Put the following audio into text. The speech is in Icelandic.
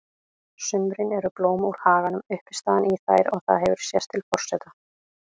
sumrin eru blóm úr haganum uppistaðan í þær og það hefur sést til forseta